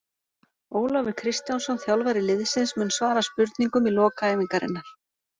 Ólafur Kristjánsson þjálfari liðsins mun svara spurningum í lok æfingarinnar.